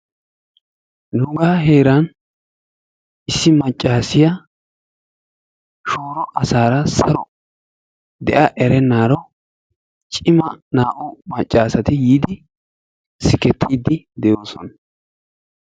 Nuuga heeran issi maccassiya shooro asara saro de'a erennaro cimma naa'u maccasatti yiidi sigettidi de'ossona.